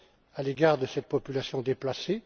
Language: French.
à l'égard de cette population déplacée.